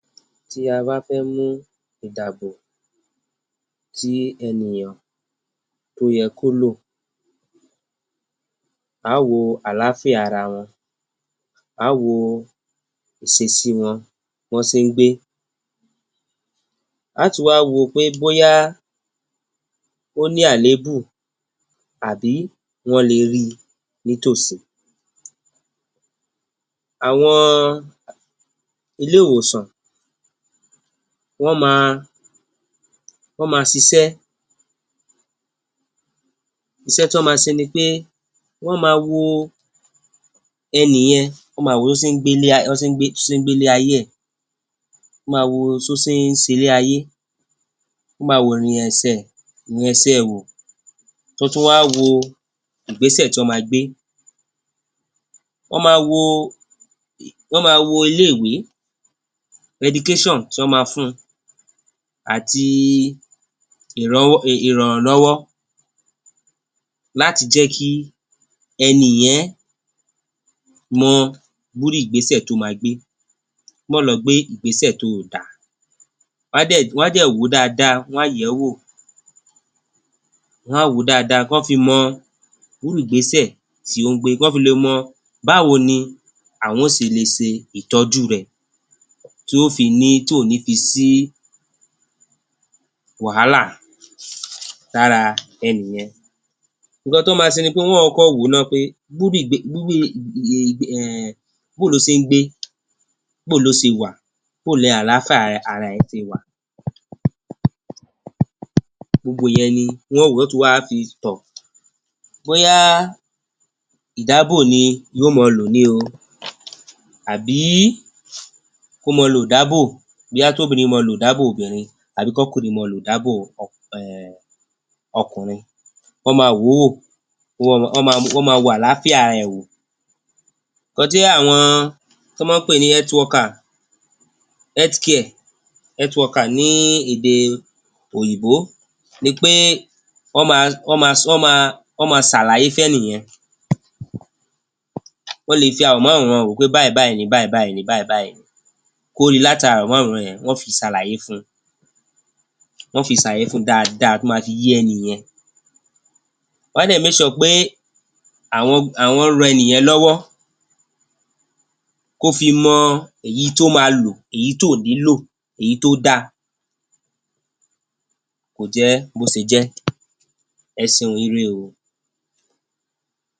Tí a bá fẹ́ mú ìdàbò tí ẹnìyàn tó yẹ kó lò, á wo àlàáfíà ara wọn, á wo ìsesí wọn, bí wọ́n se ń gbé. Á tún wá wo pé bóyá ó ní àléébù àbí wọ́n le rí i nítòsí. Àwọn iléèwòsàn, wọ́n ma, wọ́n ma sisẹ́. Isẹ́ tí wọ́n ma se ni pé wọ́n ma wo ẹnì yẹn, wọ́n máa wò ó tó ṣe ń gbé, bán se ń gbé, tó ṣe ń gbélé ayé ẹ̀. Wọ́n máa wo so se ń selé ayé, ó máa worìn ẹsẹ̀, ìrìn ẹsẹ ẹ̀ wò, tán tún wá wo ìgbẹ́sẹ̀ tí wọ́n máa gbé. Wọ́n máa wo, wọ́n máa wo ilé-ìwé, education tí wọ́n máa fún un àti ìrànlọ́wọ́ láti jẹ́ kí ẹni yẹn mọ irú ìgbésẹ̀ tó máa gbé, má lọ gbé ìgbésẹ̀ tóò dáa. Wọ́n á dẹ̀, wọ́n á dẹ̀ wò ó dáada, wọ́n á yẹ̀ ẹ́ wò. Wọn á wò ó dáada kan fi mọ irú ìgbésẹ̀ tí ó ń gbé, kán fi le mọ báwo ni àwọn ó se le se ìtọ́jú rẹ̀ tí ó fi ní, tí ò ní fi sí wàhálà lára ẹni yẹn. Ǹǹkan tán máa se ni pé wọ́n kọ́kọ́ wò ó ná bóo ló se ń gbé? Bóo ló se wà? Bóo ni àlàáfíà ara, ara ẹ̀ se wà? Gbogbo ìyẹn ni wọ́n ó wò. Wọ́n ó tún wá fi tọ̀. Bóyá ìdábò ni yó máa lò ni o àbí kó máa lo ìdábò. Bóyá tóbìrin máa lo ìdábò obìrin, kọ́kùnrin máa lo ìdábò um ọkùnrin. Wọ́n máa wò ó wò, wọ́n máa, wọ́n máa wàlàáfíà ara ẹ̀ wò. Nǹkan tí àwọn tán máa ń pè ní health worker, health care, health worker ní èdè òyìnbó ni pé wọ́n máa, wọ́n máa sàlàyé fẹ́nì yẹn. Wọ́n le fi àwòmáwòran wò ó pé báyìí, báyìí ni, báyìí, báyìí ni, báyìí, báyìí ni, kó rí i láti ará àwòmáwòran yẹn, wọ́n fi sàlàyé fún un. Wọ́n fi sàlàyé fún un dáadáa tó máa fi yé ẹni yẹn. Wọ́n á dẹ̀ make sure pé àwọn, àwọn ran ẹni yẹn lọ́wọ́ kó fi mọ èyí tó máa lò, èyí tóò ní lò, èyí tó dáa. Kò jẹ́ bó se jẹ́. Ẹ seun. Ire o.